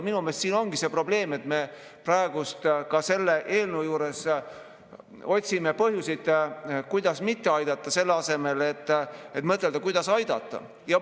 Minu meelest siin ongi see probleem, et me selle eelnõu juures otsime põhjuseid, kuidas mitte aidata, selle asemel et mõtelda, kuidas aidata.